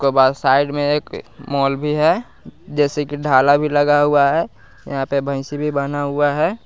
के बाद साइड में एक मोल भी है जैसे कि ढाला भी लगा हुआ है यहाँ पे भैंसी भी बाँधा हुआ है।